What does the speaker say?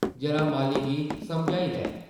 जरा माली गी समझाई लैं ।